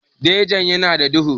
Jejin ya na da duhu